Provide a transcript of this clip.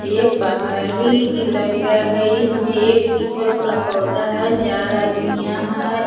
ए पहरी इलाका है इसमे एक पीपल का पौधा है चार आदमी यहाँ --